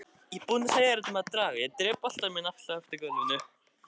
Samt dreg ég stundina á langinn.